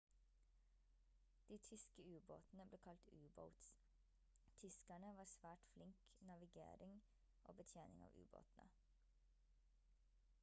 de tyske ubåtene ble kalt u-boats tyskerne var svært flink navigering og betjening av ubåtene